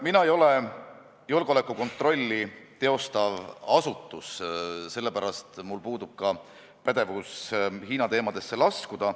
Mina ei ole julgeolekukontrolli teostav asutus, sellepärast mul puudub ka pädevus Hiina teemadesse laskuda.